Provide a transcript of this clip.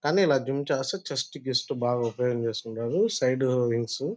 కానీ ఇలా జిమ్ చేస్తే చెస్ట్ గీస్తూ బా ఉపయోగ చేసుకుంటారు. ఆ సైడ్ --